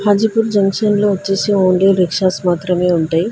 Hajipur junction లో వచ్చేసి only rickshaws మాత్రమే ఉంటాయి.